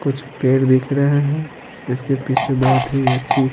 कुछ पेड़ दिख रहे हैं इसके पीछे बहुत ही अच्छी --